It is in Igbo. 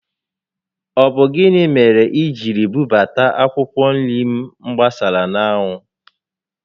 Ọ bụ gịnị mere i jiri bubata akwụkwọ nri m gbasara n'anwụ?